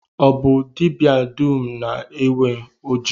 Ọ bụ dibịa dum na-enwe oji?